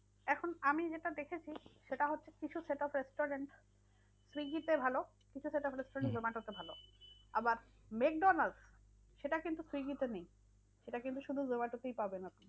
আমি যেটা দেখেছি সেটা হচ্ছে কিছু set up restaurant swiggy তে ভালো। কিছু set up restaurant zomato তে ভালো আবার ম্যাকডোনালস সেটা কিন্তু swiggy তে নেই সেটা কিন্তু শুধু zomato তেই পাবেন আপনি।